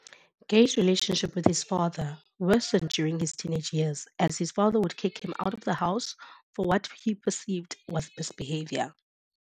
Gaye's relationship with his father worsened during his teenage years as his father would kick him out of the house for what he perceived was misbehavior.